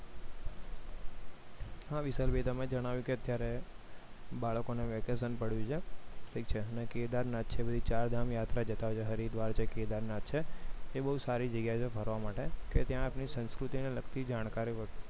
હા વિશાલ ભાઈ તમે જણાવ્યું કે અત્યારે બાળકોને vacation પડ્યું છે ઠીક છે મેં કેદારનાથ છે ચારધામ યાત્રા જતા હોય છે હરિદ્વાર છે કેદારનાથ છે એ બહુ સારી જગ્યા છે ફરવા માટે કે ત્યાં ની સંસ્કૃતિ ને લગતી જાણકારી